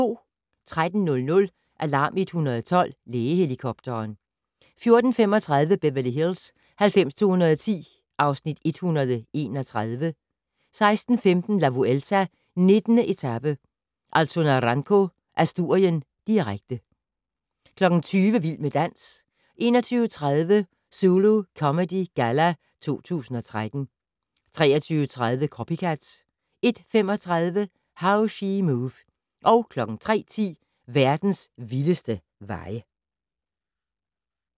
13:00: Alarm 112 - Lægehelikopteren 14:35: Beverly Hills 90210 (Afs. 131) 16:15: La Vuelta: 19. etape - Alto Naranco, Asturien, direkte 20:00: Vild med dans 21:30: Zulu Comedy Galla 2013 23:30: Copycat 01:35: How She Move 03:10: Verdens vildeste veje